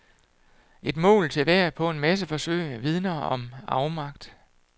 Et mål til hver på en masse forsøg vidner om afmagt.